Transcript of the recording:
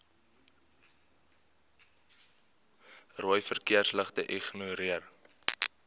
rooi verkeersligte ignoreer